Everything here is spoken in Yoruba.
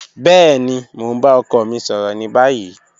Bẹẹni, mo n ba ọkọ mi sọrọ ni bayi.